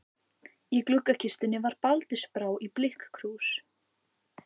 Í gluggakistunni var baldursbrá í blikkkrús.